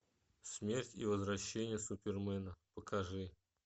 смерть и возвращение супермена покажи